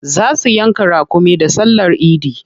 Za su yanka raƙumi da sallar idi.